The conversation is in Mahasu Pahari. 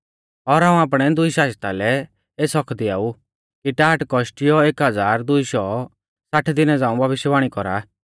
और हाऊं आपणै दुई शाजता लै एस हक्क दिआऊ कि टाट कौशटियौ एक हज़ार दुई शौ साठ दिना झ़ांऊ भविष्यवाणी कौरा